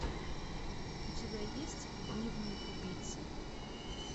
у тебя есть дневник убийцы